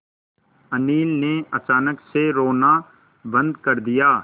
अनिल ने अचानक से रोना बंद कर दिया